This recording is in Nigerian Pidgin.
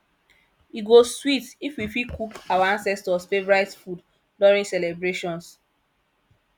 e go sweet if we fit cook our ancestors favorite food during celebrations